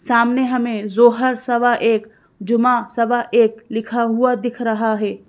सामने हमें जोहर सवा एक जुमा सवा एक लिखा हुआ दिख रहा है।